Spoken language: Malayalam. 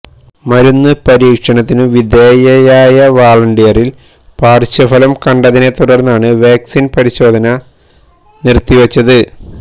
മരുന്ന് പരീക്ഷണത്തിനു വിധേയമായ വാളണ്ടിയറില് പര്ശ്വഫലം കണ്ടതിനെ തുടര്ന്നാണ് വാക്സിന് പരിശോധന നിര്ത്തിവച്ചത്